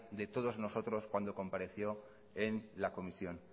de todos nosotros cuando compareció en la comisión